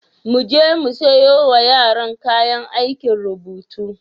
Mu je mu siyo wa yaran kayan aikin rubutu.